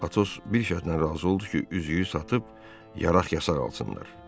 Atos bir şərtlə razı oldu ki, üzüyü satıb yaraq-yasaq alsınlar.